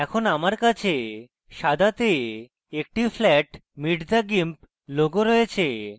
এখন আমার কাছে সাদাতে একটি flat meet the gimp logo রয়েছে